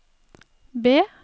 B